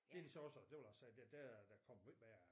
Det de så også og der vil jeg sige der der er der kommet måj mere